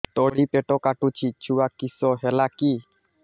ତଳିପେଟ କାଟୁଚି ଛୁଆ କିଶ ହେଲା କି